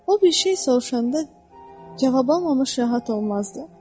O bir şey soruşanda cavab almamış rahat olmazdı.